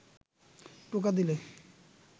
টোকা দিলে